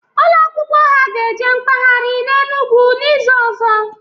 Ụlọ akwụkwọ ha ga eje mkpaghari n'Enugu n'izuka ọzọ